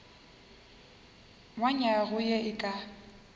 wa nywaga ye e ka